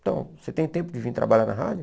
Então, você tem tempo de vir trabalhar na rádio?